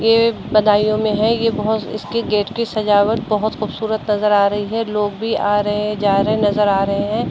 ये बदायूं में है। ये बोहत इसके गेट की सजावट बोहत खूबसूरत नजर आ रही है। लोग भी आ रहे हैं जा रहे नजर आ रहे हैं।